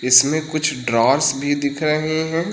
इसमें कुछ ड्रॉवर्स भी दिख रहे हैं।